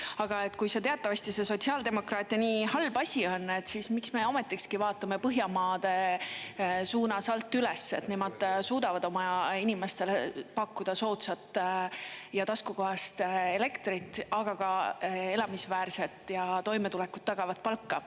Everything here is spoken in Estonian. Aga kui teatavasti see sotsiaaldemokraatide nii halb asi on, siis miks me ometigi vaatame Põhjamaade suunas alt üles, et nemad suudavad oma inimestele pakkuda soodsat ja taskukohast elektrit, aga ka elamisväärset ja toimetulekut tagavat palka.